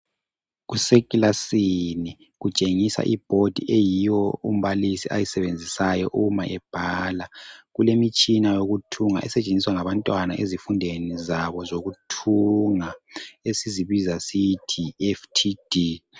Kusekilasini kutshengisa iboard eyiyo umbalisi ayisebenzisayo ma ebhala kulemitshina eyokuthunga esetshenziswa ngabantwana ezifundweni zabo zokuthunga esizibiza sithi yiFTD.